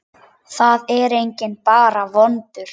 Það er enginn bara vondur.